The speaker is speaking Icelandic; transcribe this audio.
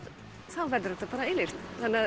þá verður það eilíft